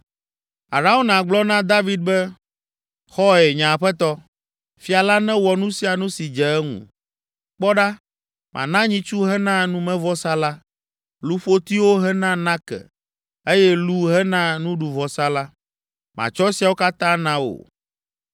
Arauna gblɔ na David be, “Xɔe! Nye aƒetɔ, fia la newɔ nu sia nu si dze eŋu. Kpɔ ɖa, mana nyitsu hena numevɔsa la, luƒotiwo hena nake eye lu hena nuɖuvɔsa la. Matsɔ esiawo katã na wò.”